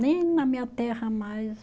Nem na minha terra mais.